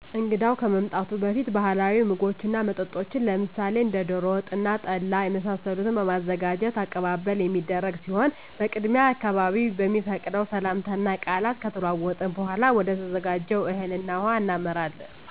እንግዳው ከመምጣቱ በፊት ባህላዊ ምግቦችን እና መጠጦችን ለምሳሌ እንደ ደሮ ወጥ እና ጠላ የመሳሰሉትን በማዘጋጅ አቀባበል የሚደረግ ሲሆን በቅድሚያ አካባቢዉ በሚፈቅደው ሰላምታ እና ቃላት ከተለዋወጥን በኃላ ወደተዘጋጀው እህል ውሃ እናመራለን።